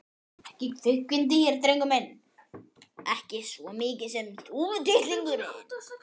ekki kvikindi hér drengur minn, ekki svo mikið sem þúfutittlingur.